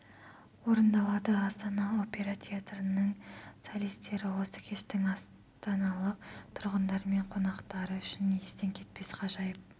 орындалады астана опера театрының солистері осы кештің астаналық тұрғындар мен қонақтары үшін естен кетпес ғажайып